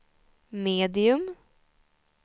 medium